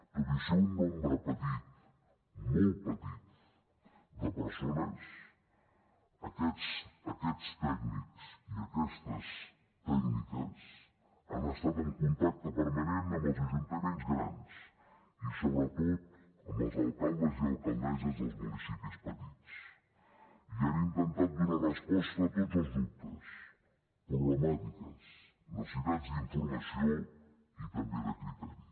tot i ser un nombre petit molt petit de persones aquests tècnics i aquestes tècniques han estat en contacte permanent amb els ajuntaments grans i sobretot amb els alcaldes i alcaldesses dels municipis petits i han intentat donar resposta a tots els dubtes problemàtiques necessitats d’informació i també de criteri